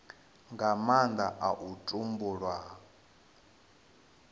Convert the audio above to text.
nga nnda ha u tumbulwa